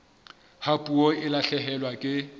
ha puo e lahlehelwa ke